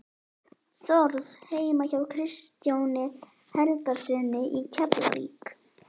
Þórð heima hjá Kristjáni Helgasyni í Keflavík.